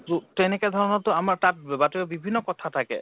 তো । তেনেকে ধৰণৰ তো আমাৰ তাত বাতৰি বিভিন্ন কথা থাকে